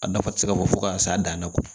A nafa ti se ka fɔ ka s'a dan na